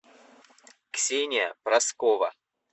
ксения проскова